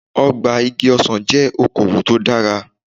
Ọgbà igi ọsàn jẹ́ oko òwò tó dára.